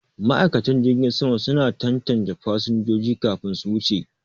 Ma'aikatan jirgin sama suna tantance fasinjojin kafin su wuce.